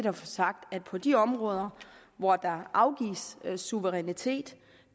at få sagt at på de områder hvor der afgives suverænitet